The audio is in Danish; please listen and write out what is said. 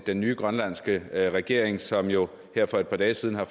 den nye grønlandske regering som jo her for et par dage siden har